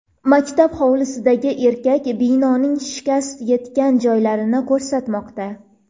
Maktab hovlisidagi erkak binoning shikast yetgan joylarini ko‘rsatmoqda.